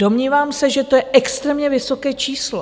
Domnívám se, že to je extrémně vysoké číslo.